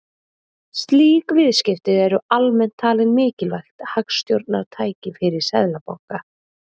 slík viðskipti eru almennt talin mikilvægt hagstjórnartæki fyrir seðlabanka